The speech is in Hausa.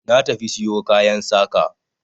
Na tafi siyo kayan saƙa.